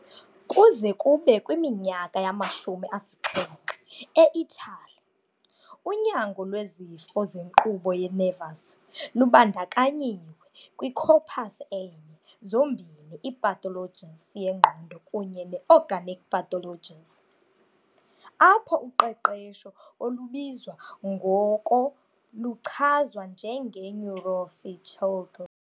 Kuze kube kwiminyaka yamashumi asixhenxe eItali, unyango lwezifo zenkqubo ye-nervous lubandakanyiwe kwi-"corpus" enye zombini i-pathologies yengqondo kunye ne-"organic" pathologies, apho uqeqesho olubizwa ngoko luchazwa njenge "neuropsychiatry".